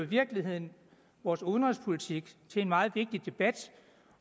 virkeligheden vores udenrigspolitik til en meget vigtig debat